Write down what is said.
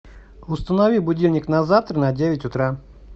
установи будильник на завтра на девять утра